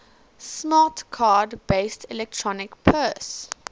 smart card based electronic purse